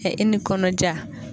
Ɛ e ni kɔnɔdija